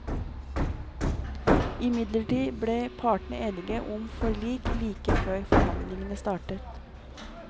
Imidlertid ble partene enige om forlik like før forhandlingene startet.